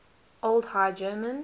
old high german